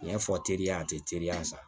N y'a fɔ teriya a tɛ teliya sa